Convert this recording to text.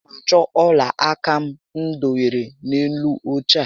A na m achọ ọla aka m dobere n'elu óche a